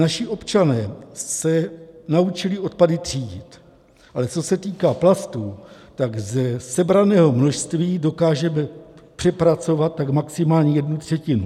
Naši občané se naučili odpady třídit, ale co se týká plastů, tak ze sebraného množství dokážeme zpracovat tak maximálně jednu třetinu.